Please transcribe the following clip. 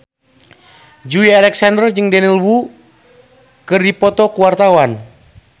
Joey Alexander jeung Daniel Wu keur dipoto ku wartawan